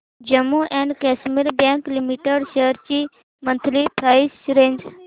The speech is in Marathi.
Jammu and Kashmir bank limited shares ची मंथली प्राइस रेंज